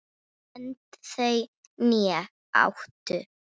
Önd þau né áttu